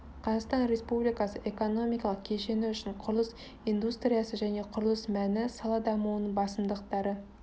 қазақстан республикасы экономикалық кешені үшін құрылыс индустриясы және құрылыс мәні сала дамуының басымдықтары